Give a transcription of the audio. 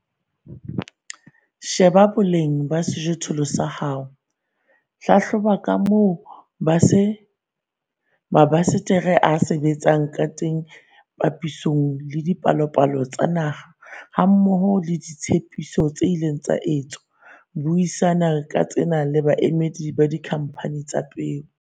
Sheba boleng ba sejothollo sa hao. Hlahloba ka moo mabasetere a sebetsang ka teng papisong le dipalopalo tsa naha hammoho le ditshepiso tse ileng tsa etswa. Buisana ka tsena le baemedi ba dikhamphane tsa dipeo.